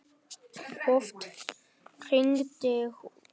Oft hringdi hún.